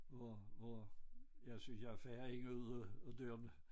Hvor hvor jeg synes jeg farer ind og ud af dørene